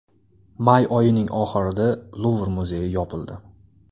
May oyining oxirida Luvr muzeyi yopildi.